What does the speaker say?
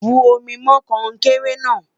bù omi mọ konkere na